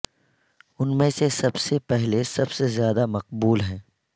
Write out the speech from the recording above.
ان میں سے سب سے پہلے سب سے زیادہ مقبول ہیں